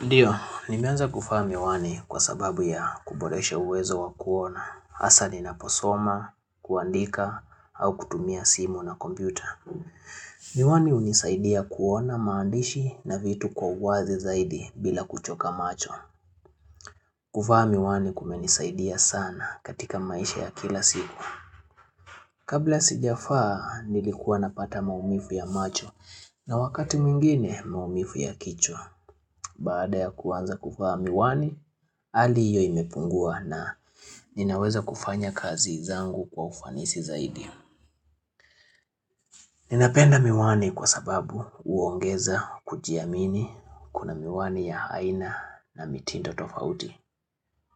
Ndiyo, nimeanza kuvaa miwani kwa sababu ya kuboresha uwezo wa kuona, haswa ninaposoma, kuandika, au kutumia simu na kompyuta. Miwani hunisaidia kuona maandishi na vitu kwa uwazi zaidi bila kuchoka macho. Kuvaa miwani kumenisaidia sana katika maisha ya kila siku. Kabla sijavaa nilikuwa napata maumivu ya macho na wakati mwingine maumivu ya kichwa. Baada ya kuanza kuvaa miwani, hali hiyo imepungua na ninaweza kufanya kazi zangu kwa ufanisi zaidi. Ninapenda miwani kwa sababu huongeza kujiamini kuna miwani ya aina na mitindo tofauti.